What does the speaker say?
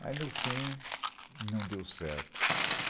Mas, no fim, não deu certo.